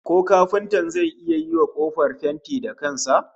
Ko kafintan zai iya yiwa kofar fenti da kan sa?